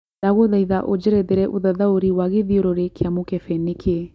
ndagũthaĩtha ũjerethere ũthathaũrĩ wa gĩthĩũrũrĩ kĩa mũkebe nĩ kĩ